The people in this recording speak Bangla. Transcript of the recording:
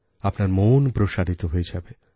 আপনার মন প্রসারিত হয়ে যাবে